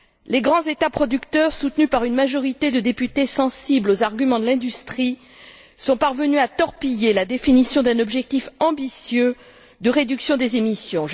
Les grands États producteurs, soutenus par une majorité de députés sensibles aux arguments de l'industrie, sont parvenus à torpiller la définition d'un objectif ambitieux de réduction des émissions.